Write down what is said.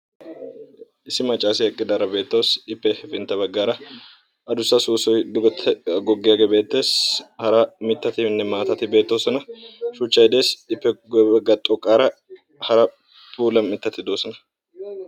Issi macassiya eqqidara beettawussu. He maccasse matan duge goggiya soossoy beetees. Qassikka hara mittatti beetosonna.